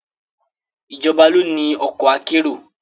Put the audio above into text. Ìjọba ló ni ọkọ̀ akérò